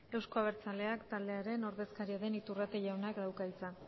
euzko abertzaleak taldearen ordezkaria den iturrate jaunak dauka hitza